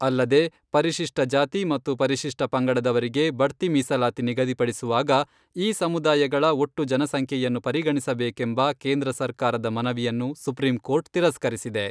ಅಲ್ಲದೇ, ಪರಿಶಿಷ್ಟ ಜಾತಿ ಮತ್ತು ಪರಿಶಿಷ್ಟ ಪಂಗಡದವರಿಗೆ ಬಡ್ತಿ ಮೀಸಲಾತಿ ನಿಗದಿಪಡಿಸುವಾಗ ಈ ಸಮುದಾಯಗಳ ಒಟ್ಟು ಜನಸಂಖ್ಯೆಯನ್ನು ಪರಿಗಣಿಸಬೇಕೆಂಬ ಕೇಂದ್ರ ಸರ್ಕಾರದ ಮನವಿಯನ್ನು ಸುಪ್ರೀಂ ಕೋರ್ಟ್ ತಿರಸ್ಕರಿಸಿದೆ.